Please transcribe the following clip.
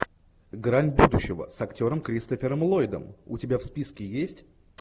грань будущего с актером кристофером ллойдом у тебя в списке есть